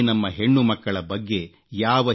ಈ ನಮ್ಮ ಹೆಣ್ಣುಮಕ್ಕಳ ಬಗ್ಗೆ ಯಾವ